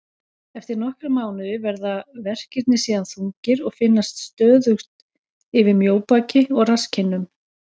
Eftir nokkra mánuði verða verkirnir síðan þungir og finnast stöðugt yfir mjóbaki og rasskinnum.